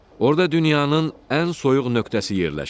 Orda dünyanın ən soyuq nöqtəsi yerləşir.